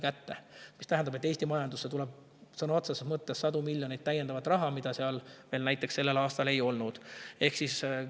See tähendab, et Eesti majandusse tuleb sõna otseses mõttes sadu miljoneid täiendavat raha, mida seal veel näiteks sellel aastal ei olnud.